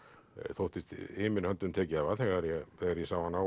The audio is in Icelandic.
þóttist himinn höndum tekið hafa þegar ég þegar ég sá hana